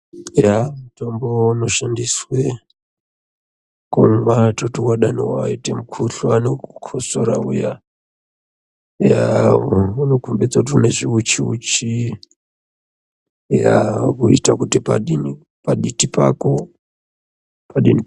Eya mutombo unoshandiswe kumwa toti dani waita mukhuhlani wekukosora uya eya unokombidza kuti une zviuchiuchi eya wochitoita kuti paditi pako padini.